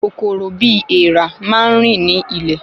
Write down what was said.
Kòkòrò bi èèrà máa n rin ni ilẹ̀